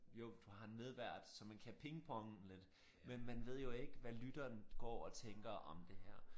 Jo du har en medvært så man kan pingponge lidt men man ved jo ikke hvad lytteren går og tænker om det her